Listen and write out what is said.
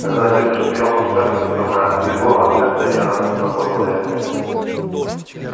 когда отец рассмеялся у скарлетт немного отлегло от сердца и она мысленно поблагодарила мелли